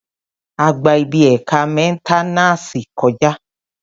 A gba ibi ẹ̀ka mẹ́nténàsì kọ̀já